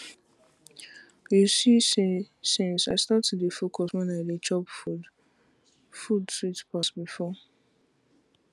you see see since i start to dey focus when i dey chop food sweet pass before